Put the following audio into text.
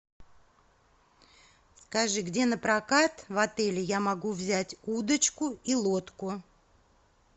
скажи где напрокат в отеле я могу взять удочку и лодку